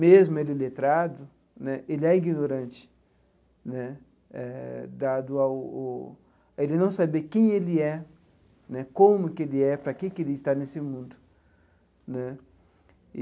Mesmo ele letrado né, ele é ignorante né eh, dado ao o ele não saber quem ele é né, como que ele é, para que que ele está nesse mundo né.